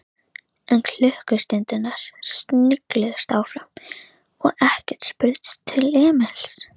En klukkustundirnar snigluðust áfram og ekkert spurðist til Emils.